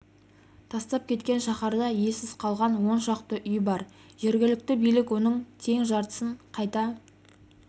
тастап кеткен шаһарда иесіз қалған он шақты үй бар жергілікті билік оның тең жартысын қайта